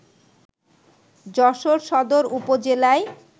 যশোর সদর উপজেলায়